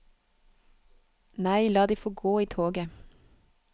Nei, la de få gå i toget.